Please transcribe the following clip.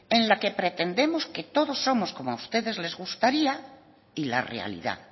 en la que pretendemos que todos somos como a ustedes les gustaría y la realidad